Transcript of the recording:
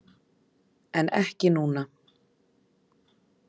En ekki núna.